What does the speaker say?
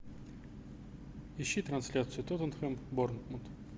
ищи трансляцию тоттенхэм борнмут